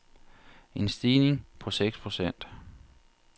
En stigning på seks procent.